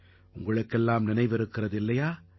உங்களுக்கெல்லாம் நினைவிருக்கிறது இல்லையா